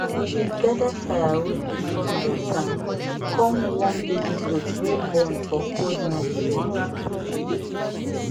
we dey gather firewood before harmattan come warm baby goat wey born for cold night